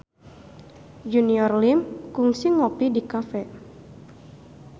Junior Liem kungsi ngopi di cafe